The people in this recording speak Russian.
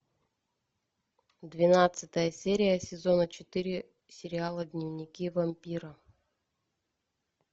двенадцатая серия сезона четыре сериала дневники вампира